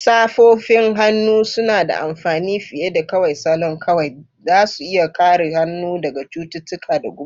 Safofin hannu suna da amfani fiye da kawai salon kawai; za su iya kare hannu daga cututtuka da guba.